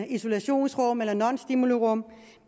isolationsrum eller nonstimulirum